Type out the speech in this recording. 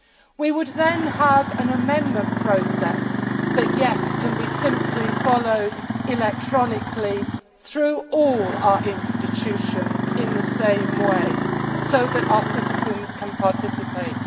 We would then have an amendment process that can be easily followed electronically through all our institutions in the same way, so that our citizens can participate.